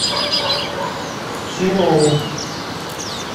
серову